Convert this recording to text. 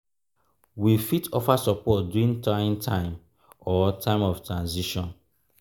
we fit offer support during trying time or time of transition